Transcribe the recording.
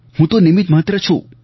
હું તો નિમિત્ત માત્ર છું